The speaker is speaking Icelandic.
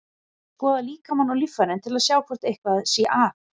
Ég skoða líkamann og líffærin til að sjá hvort eitthvað sé að.